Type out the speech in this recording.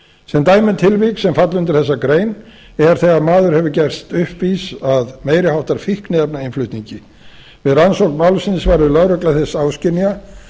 sem dæmi um tilvik sem falla undir þessa grein er þegar maður hefur gerst uppvís að meiri háttar fíkniefnainnflutningi við rannsókn málsins varð lögregla þess áskynja